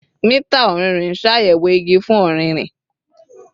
Mita ọrinrin n ṣayẹwo igi fun ọririn